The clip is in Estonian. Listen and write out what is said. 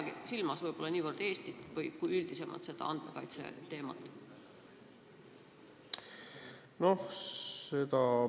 Ma ei peagi silmas võib-olla niivõrd Eestit kui andmekaitseteemat üldisemalt.